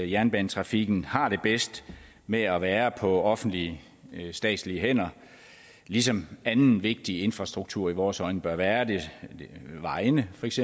jernbanetrafikken har det bedst med at være på offentlige statslige hænder ligesom anden vigtig infrastruktur i vores øjne bør være det vejene feks